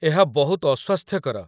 ଏହା ବହୁତ ଅସ୍ୱାସ୍ଥ୍ୟକର।